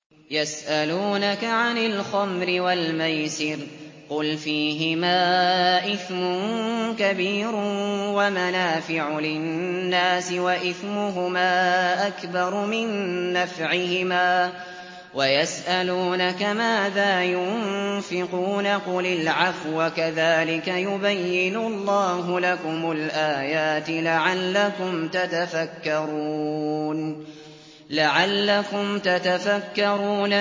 ۞ يَسْأَلُونَكَ عَنِ الْخَمْرِ وَالْمَيْسِرِ ۖ قُلْ فِيهِمَا إِثْمٌ كَبِيرٌ وَمَنَافِعُ لِلنَّاسِ وَإِثْمُهُمَا أَكْبَرُ مِن نَّفْعِهِمَا ۗ وَيَسْأَلُونَكَ مَاذَا يُنفِقُونَ قُلِ الْعَفْوَ ۗ كَذَٰلِكَ يُبَيِّنُ اللَّهُ لَكُمُ الْآيَاتِ لَعَلَّكُمْ تَتَفَكَّرُونَ